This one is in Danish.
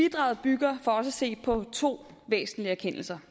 bidraget bygger for os at se på to væsentlige erkendelser